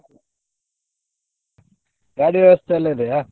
ಗಾಡಿ ವ್ಯವಸ್ಥೆ ಎಲ್ಲ ಇದೆಯಾ?